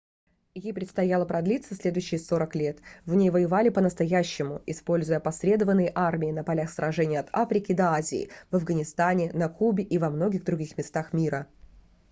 ей предстояло продлиться следующие 40 лет в ней воевали по-настоящему используя опосредованные армии на полях сражений от африки до азии в афганистане на кубе и во многих других местах мира